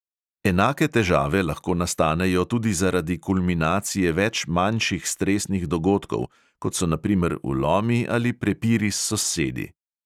Enake težave lahko nastanejo tudi zaradi kulminacije več manjših stresnih dogodkov, kot so na primer vlomi ali prepiri s sosedi.